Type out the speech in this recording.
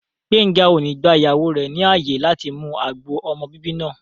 Gbéńga ò ní gba ìyàwó rẹ̀ ní ààyè láti mu agbo ọmọ bíbí náà